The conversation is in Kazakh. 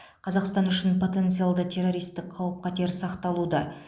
қазақстан үшін потенциалды террористік қауіп қатер сақталуда